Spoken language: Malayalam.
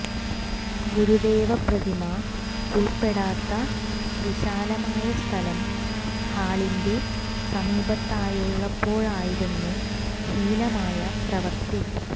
ഗുരുദേവ പ്രതിമ ഉള്പ്പെടാത്ത വിശാലമായ സ്ഥലം ഹാളിന്റെ സമീപത്തായുള്ളപ്പോഴായിരുന്നു ഹീനമായ പ്രവൃത്തി